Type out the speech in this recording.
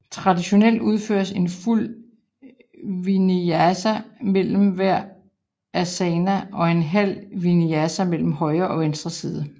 Traditionelt udføres en fuld vinyasa mellem hver asana og en halv vinyasa mellem højre og venstre side